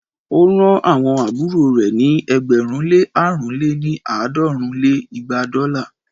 ó rán àwọn àbúrò rẹ̀ ní ẹgbẹ̀rún lé àrún lé ní- àádọ́rùn lé igba dọ́là